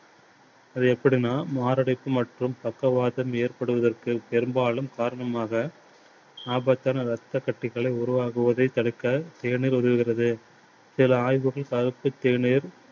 அது எப்படின்னா மாரடைப்பு மற்றும் பக்கவாதம் ஏற்படுவதற்கு பெரும்பாலும் காரணமாக ரத்தக் கட்டிகளை உருவாகுவதை தடுக்க தேநீர் உதவுகிறது. சில ஆய்வுகள் கருத்து தேநீர்